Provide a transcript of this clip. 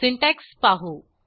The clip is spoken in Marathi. सिंटॅक्स पाहू